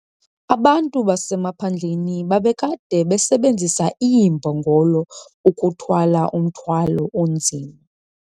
Abantu basemaphandleni babekade besebenzisa iimbongolo ukuthwala umthwalo onzima.